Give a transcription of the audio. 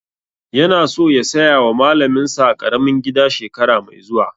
Yana so ya saya wa malamin sa ƙaramin gida shekara mai zuwa